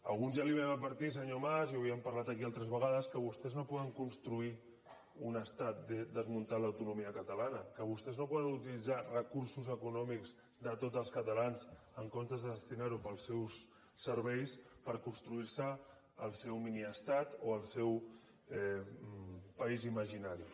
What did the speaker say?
alguns ja li vam advertir senyor mas i ho havíem parlat aquí altres vegades que vostès no poden construir un estat desmuntant l’autonomia catalana que vostès no poden utilitzar recursos econòmics de tots els catalans en comptes de destinar ho als seus serveis per construir se el seu miniestat o el seu país imaginari